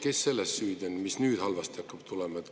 Kes siis selles süüdi on, kui nüüd miski hakkab halvasti minema?